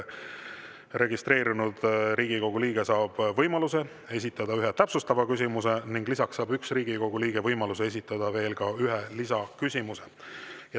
Registreerunud Riigikogu liige saab võimaluse esitada üks täpsustav küsimus ning lisaks saab üks Riigikogu liige võimaluse esitada veel üks lisaküsimus.